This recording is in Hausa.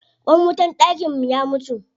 Ƙwan wutar dakin mu ya mutu.